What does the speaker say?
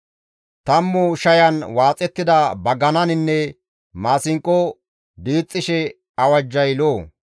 Tammu shayan waaxettida bagananinne maasinqo diixxishe awajjay lo7o.